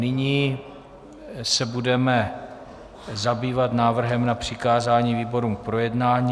Nyní se budeme zabývat návrhem na přikázání výborům k projednání.